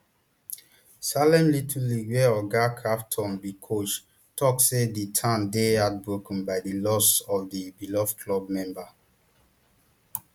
salem little league wia oga crafton be coach tok say di town dey heartbroken by di loss of di beloved club member